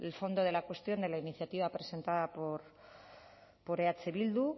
fondo de la cuestión de la iniciativa presentada por eh bildu